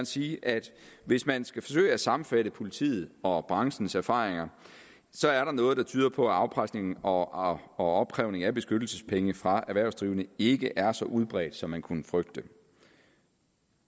sige at hvis man skal forsøge at sammenfatte politiets og branchens erfaringer er der noget der tyder på at afpresning og og opkrævning af beskyttelsespenge fra erhvervsdrivende ikke er så udbredt som man kunne frygte